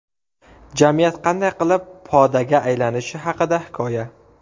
Jamiyat qanday qilib podaga aylanishi haqida hikoya.